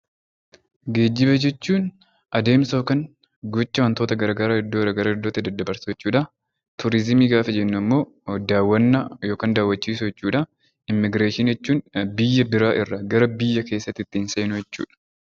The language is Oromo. Geejiba jechuun adeemsa yookaan gocha waantota garaagaraa bakka iddoo garaagaraatti dabarsuu jechuudha. Turizimii gaafa jennu immoo daawwannaa yookaan daawwachiisuu jechuudha. Immigireeshinii jechuun biyya biraa irraa gara biyya keessaatti ittiin seenuu jechuudha.